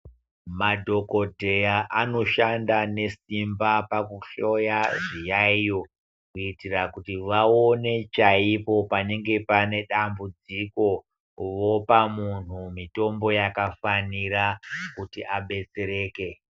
Madhokodheya anoshanda nesimba pakuhloya zviyayiyo kuitira kuti vaone chaipo panenge panedambudziko vopa munhu mitombo yakafanira kuti munhu abetsereke.